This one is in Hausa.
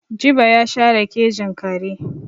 Jibo ya share kejin kare.